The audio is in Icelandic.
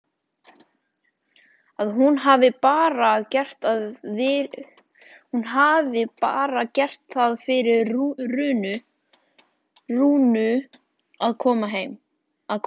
Að hún hafi bara gert það fyrir Rúnu að koma.